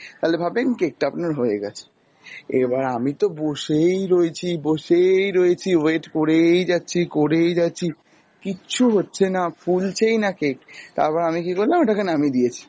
তালে ভাববেন cake টা আপনার হয়ে গেছে। এবার আমিতো বসেই রয়েছি, বসেই রয়েছি, wait করেই যাচ্ছি, করেই যাচ্ছি, কিচ্ছু হচ্ছে না, ফুলছেই না cake, তারপর আমি কী করলাম ওটাকে নামিয়ে দিয়েছি, এবার toothpick দিয়ে লাগাচ্ছি দেখছি যে উঠেই আসছে,